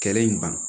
Kɛlɛ in ban